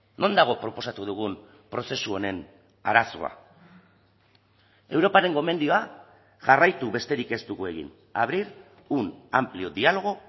non dago proposatu dugun prozesu honen arazoa europaren gomendioa jarraitu besterik ez dugu egin abrir un amplio diálogo